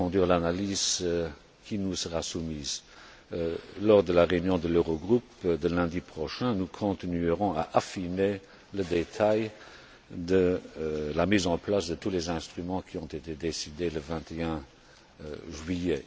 l'analyse qui nous sera soumise. Lors de la réunion de l'Eurogroupe de lundi prochain, nous continuerons à affiner le détail de la mise en place de tous les instruments qui ont été décidés le 21 juillet.